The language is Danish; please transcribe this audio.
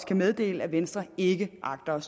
kan meddele at venstre ikke agter